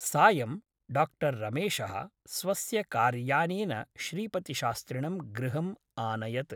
सायं डा रमेशः स्वस्य कार्यानेन श्रीपतिशास्त्रिणं गृहम् आनयत् ।